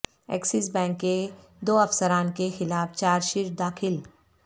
access bank کے دو افسران کے خلاف چارج شیٹ داخل